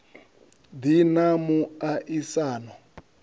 ḓi na mu a isano